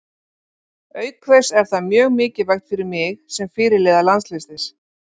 Auk þess er það mjög mikilvægt fyrir mig sem fyrirliða landsliðsins.